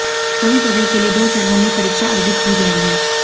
सभी पदों के लिए दो चरण में परीक्षा आयोजित की जाएगी